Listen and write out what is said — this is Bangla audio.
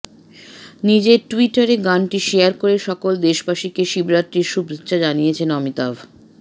নিজের টুইটারে গানটি শেয়ার করে সকল দেশবাসীকে শিবরাত্রির শুভেচ্ছা জানিয়েছেন অমিতাভ